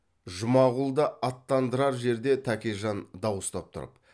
жұмағұлды аттандырар жерде тәкежан дауыстап тұрып